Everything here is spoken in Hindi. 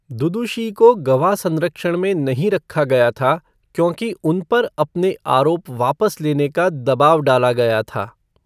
दुदुशी को गवाह संरक्षण में नहीं रखा गया था, क्योंकि उन पर अपने आरोप वापस लेने का दबाव डाला गया था।